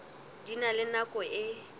di na le nako e